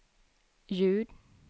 ljud